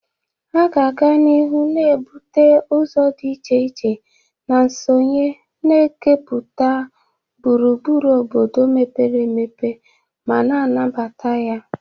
A ga-aga n'ihu na-ebute ụzọ dị iche iche na nsonye, na-ekepụta gburugburu obodo mepere emepe ma na-anabata ya.